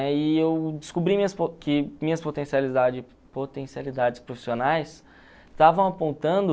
E eu descobri minhas que minhas potencialidades profissionais estavam apontando